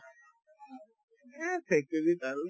এহ্, factory ত আৰু